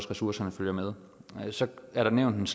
ressourcerne følger med så er der nævnt